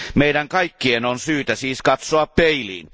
Meidän kaikkien on syytä siis katsoa peiliin.